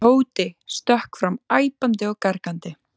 Tóti stökk fram æpandi og gargandi.